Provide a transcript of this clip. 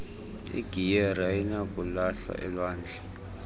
igiyeri ayinakulahlwa elwandle